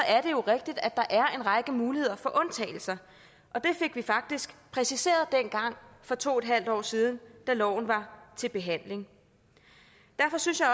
er det jo rigtigt at der er en række muligheder for undtagelser og det fik vi faktisk præciseret dengang for to en halv år siden da loven var til behandling derfor synes jeg